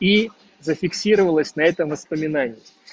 и зафиксировалась на этом воспоминании